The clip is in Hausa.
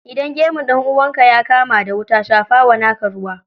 Idan gemun ɗan'uwanka ya kama da wuta, shafawa naka ruwa.